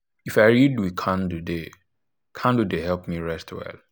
if i read with candle dey candle dey help me rest well.